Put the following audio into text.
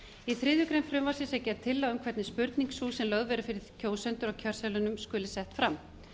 í þriðju greinar frumvarpsins er gerð tillaga um hvernig spurning sú sem lögð verður fyrir kjósendur á kjörseðlinum skuli sett fram